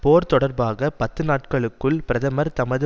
போர் தொடர்பாக பத்து நாட்களுக்குள் பிரதமர் தமது